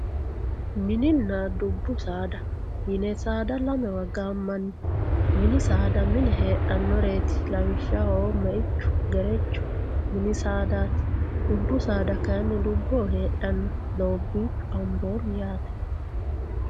mininna dubbu saada yine saada lamewa gaammanni mini saada mine heedhannoreeti lawishshaho meichu gerechu mini saadaati dubbu saadaati kayiinni dubboho heedhanno doobbiichu amboommi yaate.